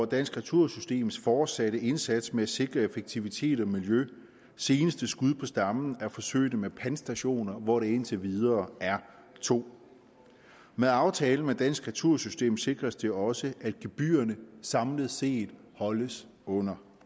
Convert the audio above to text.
dansk retursystems fortsatte indsats med at sikre effektivitet og miljø seneste skud på stammen er forsøget med pantstationer hvoraf der indtil videre er to med aftalen med dansk retursystem sikres det også at gebyrerne samlet set holdes under